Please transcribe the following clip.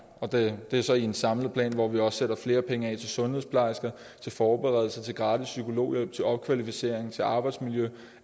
og det er så i en samlet plan hvor vi også sætter flere penge af til sundhedsplejersker til forberedelse til gratis psykologhjælp til opkvalificering til arbejdsmiljø